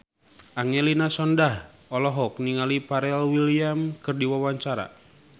Angelina Sondakh olohok ningali Pharrell Williams keur diwawancara